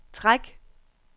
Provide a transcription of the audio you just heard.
træk